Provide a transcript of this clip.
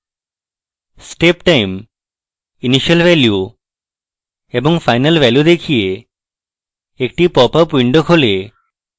step time initial value এবং final value দেখিয়ে একটি popup window খোলে